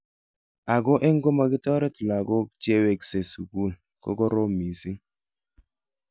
Ako eng komakitaret loko che wekesei sukul kokoromitu mising.